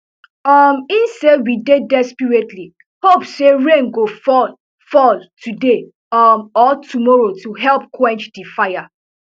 um e say we dey desperately hope say rain go fall fall today um or tomorrow to help quench di fire